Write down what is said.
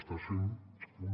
estàs fent un